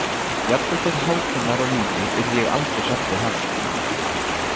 Jafnvel þótt Hákon væri á lífi yrði ég aldrei hrædd við hann.